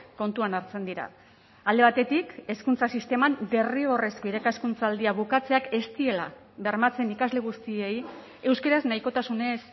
kontuan hartzen dira alde batetik hezkuntza sisteman derrigorrezko irakaskuntzaldia bukatzeak ez diela bermatzen ikasle guztiei euskaraz nahikotasunez